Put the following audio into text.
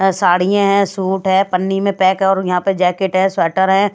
साड़ियां हैं सूट है पन्नी में पैक है और यहां पे जैकेट है स्वेटर हैं।